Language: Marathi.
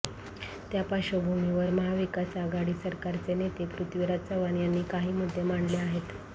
त्या पार्श्वभूमीवर महाविकास आघाडी सरकारचे नेते पृथ्वीराज चव्हाण यांनी काही मुद्दे मांडले आहेत